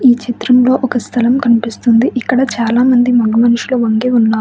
ఈ చిత్రంలో ఒక స్థలం కనిపిస్తుంది. ఇక్కడ చాలామంది మగ మనుషులు వంగి ఉన్నారు.